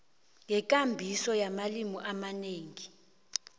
ngekambiso yamalimi amanengi